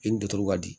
I ni dutugu ka di